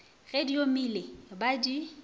ge di omile ba di